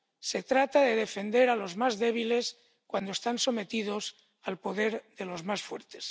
Se trata de defender a los más débiles cuando están sometidos al poder de los más fuertes.